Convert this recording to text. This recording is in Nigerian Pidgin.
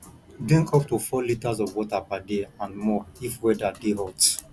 drink up to 4 liters of water per day and more if weather de hot